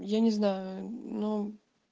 я не знаю но